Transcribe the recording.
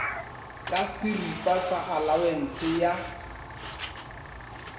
ka šeripa sa alawense ya